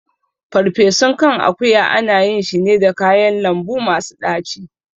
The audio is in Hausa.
Ferfesun kan akuya ana yin shi ne da kayan lambu masu ɗaci